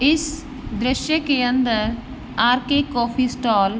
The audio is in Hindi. इस दृश्य के अंदर आरके के कॉफ़ी स्टॉल --